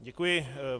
Děkuji.